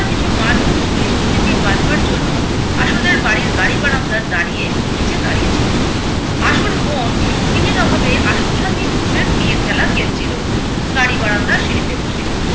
কিছু মানুষ বৃষ্টি থেকে বাঁচবার জন্য আশুদের বাড়ির গাড়ি বারান্দা দাঁড়িয়ে নীচে দাঁড়িয়ে ছিলো। আশুর বোন সঙ্গিনীর অভাবে আশুর সাথেই পুতুলের বিয়ের খেলা খেলছিলো গাড়ি বারান্দার সিঁড়িতে বসে